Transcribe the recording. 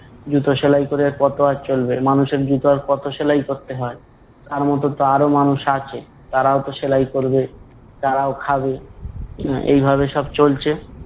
জুতো সেলাই ক'রে কত আর চলবে! মানুষের জুতো আর কত সেলাই করতে হয়? তার মতো তো আরও মানুষ আছে তারাও তো সেলাই করবে, তারাও খাবে আহ এই ভাবে সব চলছে